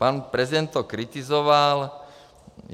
Pan prezident to kritizoval.